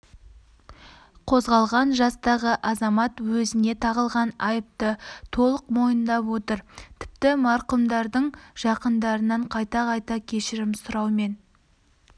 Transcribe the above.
қозғалған жастағы азамат өзіне тағылған айыпты толық мойындап отыр тіпті марқұмдардың жақындарынан қайта-қайта кешірім сұраумен